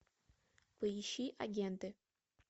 поищи агенты